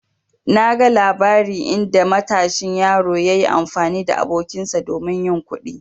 Na gan labari inda matashin yaro yayi amfani da abokinsa domin yin kuɗi.